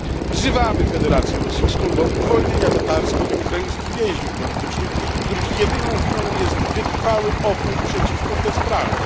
Wzywamy Federację Rosyjską do uwolnienia tatarskich i ukraińskich więźniów politycznych, których jedyną winą jest wytrwały opór przeciwko bezprawiu.